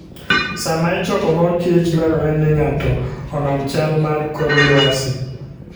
Sama ichoko mor kich dwarore ni ng'ato onon chal mar kor lwasi.